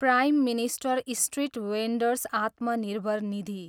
prime minister street vendors Atmanirbhar Nidhi